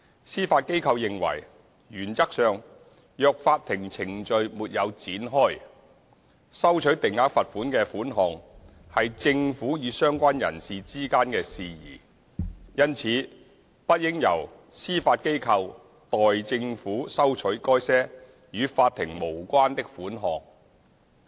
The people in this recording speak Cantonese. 司法機構認爲，原則上，若法庭程序沒有展開，收取定額罰款的款項是政府與相關人士之間的事宜，因此不應由司法機構代政府收取該些與法庭無關的款項。